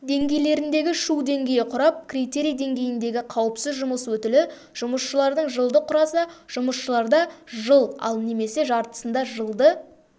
деңгейлеріндегі шу деңгейі құрап критерий деңгейіндегі қауіпсіз жұмыс өтілі жұмысшылардың жылды құраса жұмысшыларда жыл ал немесе жартысында жылды